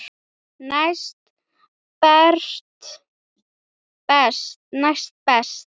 Næst best.